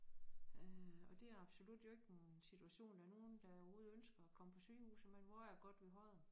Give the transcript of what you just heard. Øh og det absolut jo ikke en situation der nogen der overhovedet ønsker at komme på sygehuset men hvor er det godt vi har det